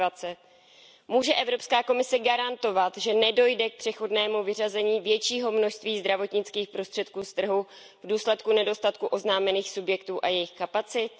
2020? Může Evropská komise garantovat, že nedojde k přechodnému vyřazení většího množství zdravotnických prostředků z trhu v důsledku nedostatku oznámených subjektů a jejich kapacit?